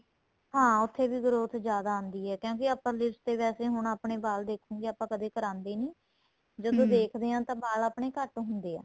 ਹਾਂ ਉੱਥੇ ਵੀ growth ਜਿਆਦਾ ਆਂਦੀ ਏ ਕਿਉਂਕਿ upper lips ਤੇ ਵੈਸੇ ਹੁਣ ਆਪਣੇਂ ਵਾਲ ਦੇਖੋਗੇ ਆਪਾਂ ਕਦੇਂ ਕਰਾਦੇ ਨਹੀਂ ਜਦੋਂ ਦੇਖਦੇ ਹਾਂ ਤਾਂ ਵਾਲ ਆਪਣੇਂ ਘੱਟ ਹੁੰਦੇ ਏ